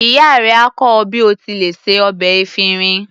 Ìyá rẹ á kọ́ ọ bí o ti lè se ọbẹ̀ efinrin.